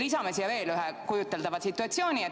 Lisame siia veel ühe kujuteldava situatsiooni.